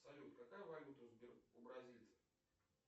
салют какая валюта у бразильцев